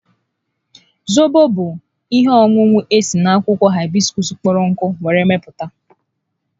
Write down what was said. Zobo bụ ihe ọṅụṅụ esi n'akwụkwọ haibiskuus kpọrọ nkụ were mepụta